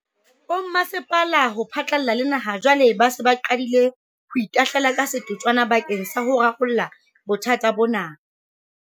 Bomasepala ho phatlalla le naha jwale ba se ba qadile ho itahlela ka setotswana bakeng sa ho rarolla bothata bona.